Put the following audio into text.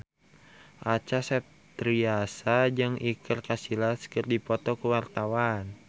Acha Septriasa jeung Iker Casillas keur dipoto ku wartawan